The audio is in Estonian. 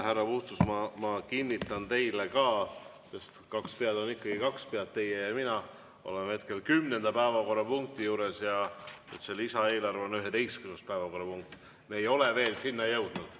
Härra Puustusmaa, ma kinnitan teile – kaks pead on ikka kaks pead –, et teie ja mina oleme hetkel 10. päevakorrapunkti juures ja lisaeelarve on 11. päevakorrapunkt, me ei ole selle juurde veel jõudnud.